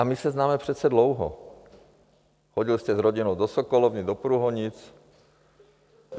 A my se známe přece dlouho, chodil jste s rodinou do sokolovny do Průhonic.